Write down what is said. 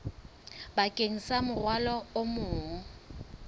bakeng sa morwalo o mong